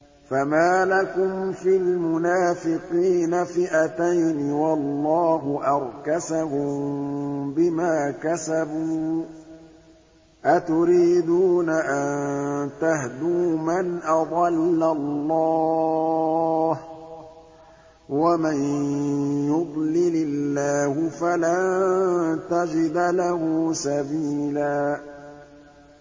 ۞ فَمَا لَكُمْ فِي الْمُنَافِقِينَ فِئَتَيْنِ وَاللَّهُ أَرْكَسَهُم بِمَا كَسَبُوا ۚ أَتُرِيدُونَ أَن تَهْدُوا مَنْ أَضَلَّ اللَّهُ ۖ وَمَن يُضْلِلِ اللَّهُ فَلَن تَجِدَ لَهُ سَبِيلًا